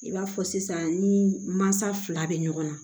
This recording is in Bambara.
I b'a fɔ sisan ni mansa fila bɛ ɲɔgɔn na